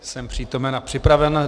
Jsem přítomen a připraven.